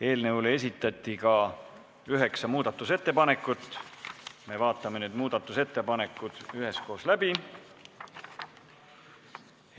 Eelnõu kohta esitati üheksa muudatusettepanekut, me vaatame need üheskoos läbi.